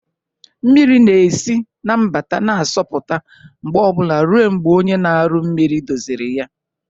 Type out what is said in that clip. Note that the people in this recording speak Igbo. Mmiri na-esi na mgbata na-asọpụta mgbe obula ruo mgbe onye na-aru mmiri doziri ya.